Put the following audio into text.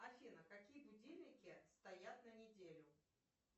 афина какие будильники стоят на неделю